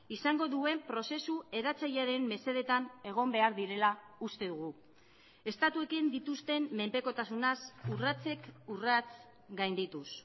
izango duen prozesu eratzailearen mesedetan egon behar direla uste dugu estatuekin dituzten menpekotasunaz urratsek urrats gaindituz